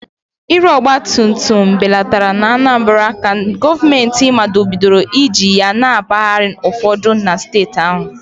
Ịre ọgba tum tum belatara n'Anambra ka gọọmentị machibidoro iji ya na mpaghara ụfọdụ na steeti ahụ